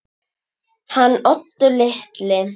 Hann Oddur litli?